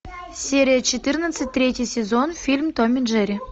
серия четырнадцать третий сезон фильм том и джерри